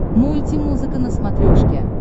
мульти музыка на смотрешке